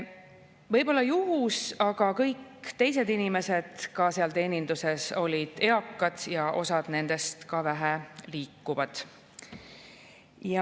Võib-olla oli see juhus, aga ka kõik teised inimesed seal teeninduses olid eakad ja osa nendest väheliikuvad.